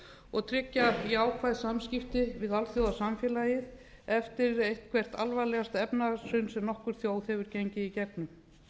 og tryggja jákvæð samskipti við alþjóðasamfélagið eftir eitthvert alvarlegasta efnahagshrun sem nokkur þjóð hefur gengið í gegnum